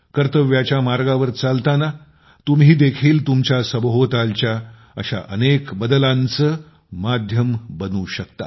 कर्तव्याच्या मार्गावर चालताना तुम्ही देखील तुमच्या सभोवतालच्या अशा अनेक बदलांचे माध्यम बनू शकता